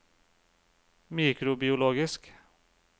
mikrobiologisk